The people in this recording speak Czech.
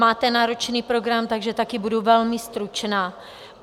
Máte náročný program, takže také budu velmi stručná.